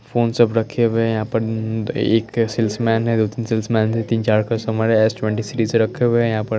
phone सब रखे हुए है यहाँ पर एक सेल्स मेन हैं दो तीन सेल्स मेन हैं तीन चार कस्टमर हैं एस ट्वेंटी सीरीज रखे हुए हैं यहा पर--